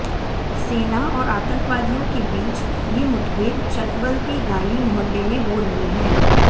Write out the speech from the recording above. सेना और आतंकवादियों के बीच ये मुठभेड़ चटबल के गाली मोहल्ले में हो रही है